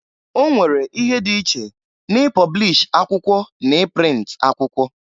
Onwere ihe dị iche na i pọblish akwụkwọ na i print akwụkwọ.